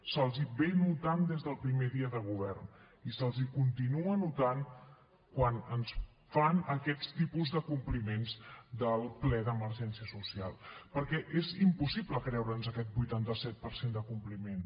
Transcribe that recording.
se’ls nota des del primer dia de govern i se’ls continua notant quan ens fan aquests tipus de compliments del ple d’emergència social perquè és impossible creure’ns aquest vuitanta set per cent de compliment